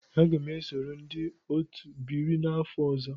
Aga m esoro ndị otu ebiri m n'afọ ọzọ.